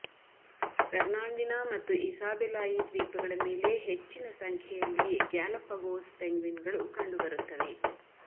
Fernandina ಮತ್ತು ಇಸಾಬೆಲಾಯಿ ದ್ವೀಪಗಳ ಮೇಲೆ ಹೆಚ್ಚಿನ ಸಂಖ್ಯೆಯಲ್ಲಿ ಗ್ಯಾಲಪಗೋಸ್ ಪೆಂಗ್ವಿನ್ಗಳು ಕಂಡುಬರುತ್ತವೆ